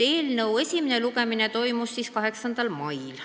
Eelnõu esimene lugemine toimus 8. mail.